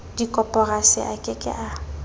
dikoporasi a ke ke a